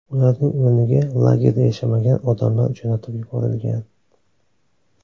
Ularning o‘rniga lagerda yashamagan odamlar jo‘natib yuborilgan.